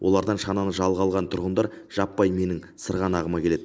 олардан шананы жалға алған тұрғындар жаппай менің сырғанағыма келеді